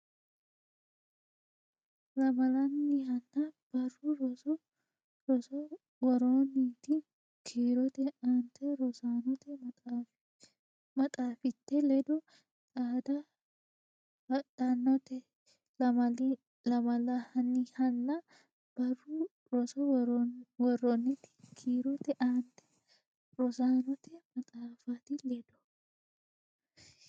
Lamalannihanna barru roso worroonniti kiirote aante rosaanote maxaafite ledo xaadde hadhannote Lamalannihanna barru roso worroonniti kiirote aante rosaanote maxaafite ledo.